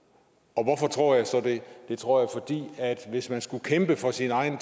og hvorfor tror jeg så det det tror jeg fordi hvis man skulle kæmpe for sin egen